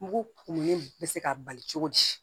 Mugu kumuni bɛ se ka bali cogo di